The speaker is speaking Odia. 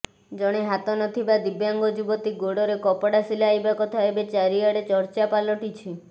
ଜଣେ ହାତ ନଥିବା ଦିବ୍ୟାଙ୍ଗ ଯୁବତୀ ଗୋଡ଼ରେ କପଡ଼ା ସିଲାଇବା କଥା ଏବେ ଚାରିଆଡ଼େ ଚର୍ଚ୍ଚା ପାଲଟିଛି